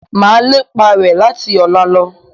Mà lépa rẹ láti ọ̀la lọ